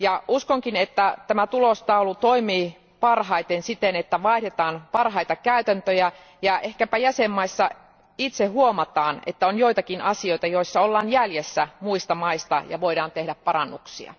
Uskonkin, että tämä tulostaulu toimii parhaiten siten, että vaihdetaan parhaita käytäntöjä, ja ehkäpä jäsenvaltioissa itse huomataan, että on joitakin asioita, joissa ollaan jäljessä muista maista ja voidaan tehdä parannuksia.